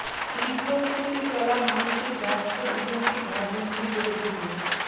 তীব্র গতিতে চলা মানুষের ব্যস্ত জীবনকে ঘরবন্দি করে দিল